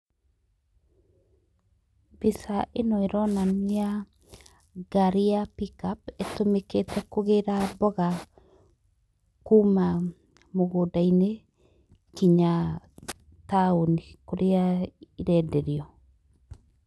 Mbica ĩno ĩronania ngari ya pick up ĩtũmĩkĩte kũgĩra mbũga kuma mũgũnda-inĩ kinya taũni kũrĩa irenderio.